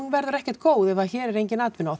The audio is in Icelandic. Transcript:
verður ekkert góð ef hér er engin atvinna og